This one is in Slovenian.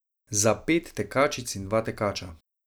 Za pet tekačic in dva tekača.